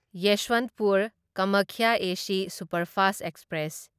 Yesvantpur Kamakhya AC superfast express